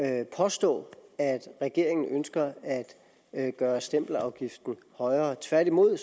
at påstå at regeringen ønsker at gøre stempelafgiften højere tværtimod